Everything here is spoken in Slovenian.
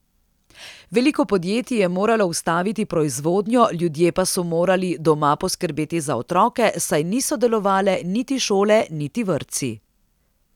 Veliko podjetij je moralo ustaviti proizvodnjo, ljudje pa so morali doma poskrbeti za otroke, saj niso delovale niti šole niti vrtci.